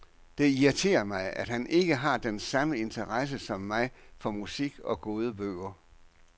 Det irriterer mig, at han ikke har den samme interesse som mig for musik og gode bøger.